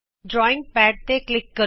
drawing pad ਤੇ click ਕਰੋ